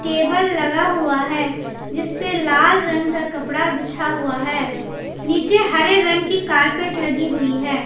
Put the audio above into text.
Table लगा हुआ है जिस पर लाल रंग का कपड़ा बिछा हुआ है नीचे हरे रंग की कारपेट लगी हुई है।